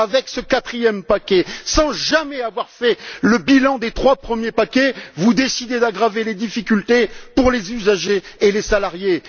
Avec ce quatrième paquet, sans jamais avoir fait le bilan des trois premiers paquets, vous décidez d'aggraver les difficultés pour les usagers et les salariés.